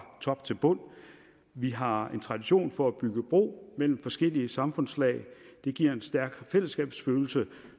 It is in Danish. top til bund vi har en tradition for at bygge bro mellem forskellige samfundslag det giver en stærk fællesskabsfølelse